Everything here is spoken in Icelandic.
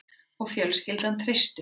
Og fjölskyldan treysti honum